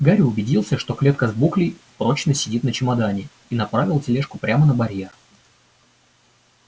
гарри убедился что клетка с буклей прочно сидит на чемодане и направил тележку прямо на барьер